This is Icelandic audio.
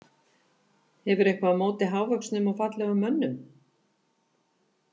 Hefurðu eitthvað á móti hávöxnum og fallegum mönnum?